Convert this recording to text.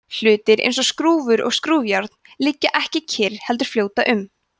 hlutir eins og skrúfur og skrúfjárn liggja ekki kyrr heldur fljóta um